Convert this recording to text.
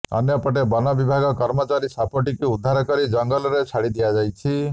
ଅନ୍ୟପଟେ ବନବିଭାଗ କର୍ମଚାରୀ ସାପଟିକୁ ଉଦ୍ଧରା କରି ଜଙ୍ଗଲରେ ଛାଡି ଦିଆଯାଇଛି